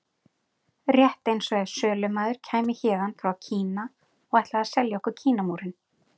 Rétt eins og ef sölumaður kæmi héðan frá Kína og ætlaði að selja okkur Kínamúrinn.